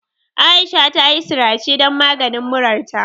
Aisha tayi sirace dan maganin murarta.